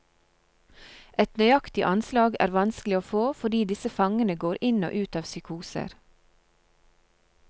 Et nøyaktig anslag er vanskelig å få, fordi disse fangene går inn og ut av psykoser.